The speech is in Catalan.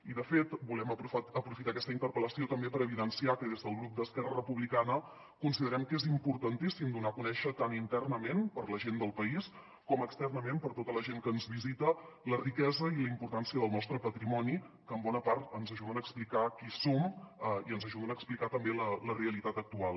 i de fet volem aprofitar aquesta interpel·lació també per evidenciar que des del grup d’esquerra republicana considerem que és importantíssim donar a conèixer tant internament per a la gent del país com externament per a tota la gent que ens visita la riquesa i la importància del nostre patrimoni que en bona part ens ajuden a explicar qui som i ens ajuden a explicar també la realitat actual